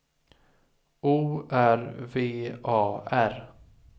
O R V A R